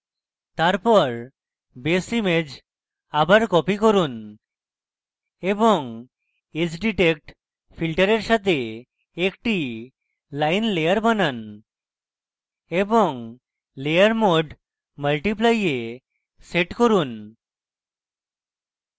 তারপর base image আবার copy করুন এবং edge detect filter সাথে একটি line layer বানান এবং layer mode multiply a set করুন